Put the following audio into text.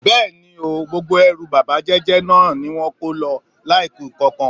Bé̩è̩ni ooo, gbogbo e̩rù bábà jé̩jé̩ náà ni wó̩n kó lo̩ láìku nǹkankan.